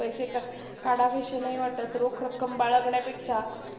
पैसे काढवेशे नाही वाटत, रोख रक्कम बाळगण्यापेक्षा